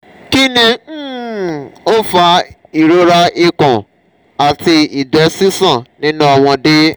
kini um o fa irora ikun ati igbe sisan ni nu omode?